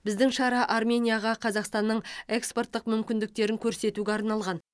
біздің шара арменияға қазақстанның экспорттық мүмкіндіктерін көрсетуге арналған